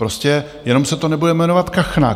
Prostě jenom se to nebude jmenovat kachna.